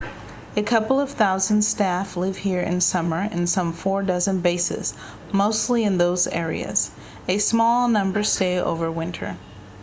a couple of thousand staff live here in summer in some four dozen bases mostly in those areas a small number stay over winter